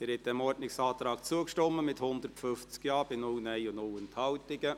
Sie haben diesem Ordnungsantrag zugestimmt, mit 150 Ja- bei 0 Nein-Stimmen und 0 Enthaltungen.